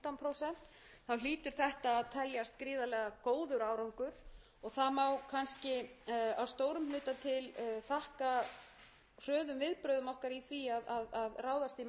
teljast gríðarlega góður árangur það má kannski að stórum hluta til þakka hröðum viðbrögðum okkar í því að ráðast í markaðssókn þegar við stóðum hvað höllustum fæti hvað varðaði komu ferðamanna hingað til